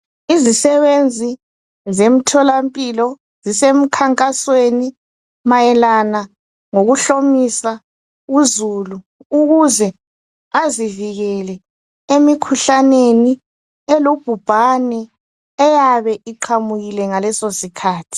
Izisebenzi zemtholampilo zisemkhankasweni mayelana lokuhlomisa uzulu ukuze azivikele emikhuhlaneni elubhubhane eyabe iqhamukile ngaleso sikhathi.